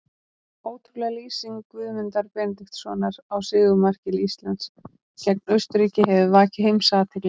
Ótrúleg lýsing Guðmundar Benediktssonar á sigurmarki Íslands gegn Austurríki hefur vakið heimsathygli.